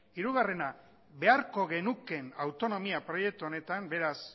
hirugarrena beharko genukeen autonomia proiektu honetan beraz